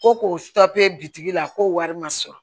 Ko k'o papiye bitigi la k'o wari ma sɔrɔ